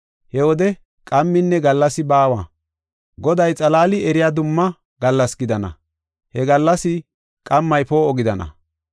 He wode qamminne gallasi baawa, Goday xalaali eriya dumma gallas gidana; he gallas qammay poo7o gidana.